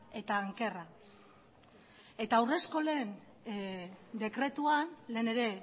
eta ankerra eta haurreskolen dekretuan lehen ere